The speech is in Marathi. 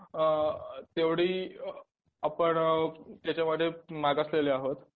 अ तेवढी आपण त्याच्यामध्ये मागासलेले आहोत.